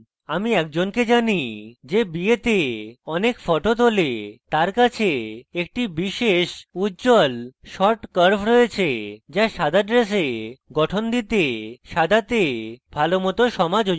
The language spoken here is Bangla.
আমি একজনকে জানি যে বিয়েতে অনেক ফটো তোলে এবং তার কাছে একটি বিশেষ উজ্জ্বল shot curve রয়েছে যা সাদা dress গঠন দিতে সাদাতে ভালোমত সমাযোজিত রয়েছে